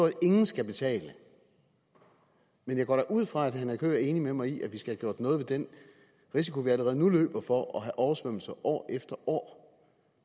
at ingen skal betale men jeg går da ud fra at herre henrik høegh er enig med mig i at vi skal have gjort noget ved den risiko vi allerede nu løber for at have oversvømmelser år efter år